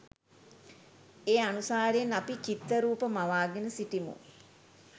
ඒ අනුසාරයෙන් අපි චිත්තරූප, මවාගෙන සිටිමු.